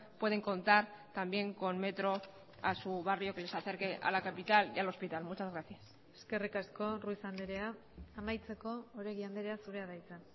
pueden contar también con metro a su barrio que les acerque a la capital y al hospital muchas gracias eskerrik asko ruiz andrea amaitzeko oregi andrea zurea da hitza